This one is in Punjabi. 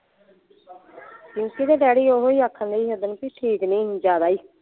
ਪਿੰਕੀ ਦਾ ਡੈਡੀ ਓਹੀ ਆਖਣ ਡਈ ਸੀ ਉੱਸਦਿਨ ਬੀ ਠੀਕ ਨਹੀਂ ਸੀ ਜਿਆਦਾ ਹੀ।